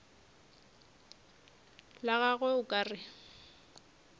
la gagwe o ka re